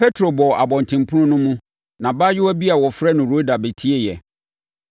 Petro bɔɔ abɔntenpono no mu, na abaayewa bi a wɔfrɛ no Roda bɛtieeɛ.